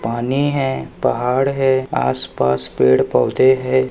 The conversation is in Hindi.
पानी है पहाड़ है आस पास पेड़ पौधे है।